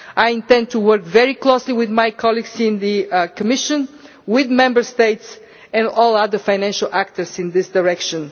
I intend to work very closely with my colleagues in the Commission, with Member States and all other financial actors in this direction.